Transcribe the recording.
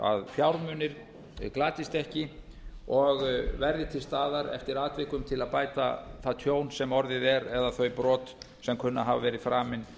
fjármunir glatist ekki og verði til staðar eftir atvikum til að bæta það tjón sem orðið er eða þau brot sem kunna að hafa verið framin